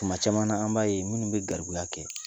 Tuma caman an b'a ye minnu bɛ gariya kɛ